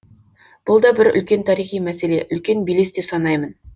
бұл да бір үлкен тарихи мәселе үлкен белес деп санаймын